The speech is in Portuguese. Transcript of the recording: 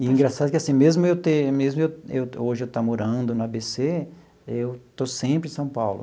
E engraçado que assim, mesmo eu tem mesmo eu eu hoje eu estar morando no á bê cê, eu estou sempre em São Paulo.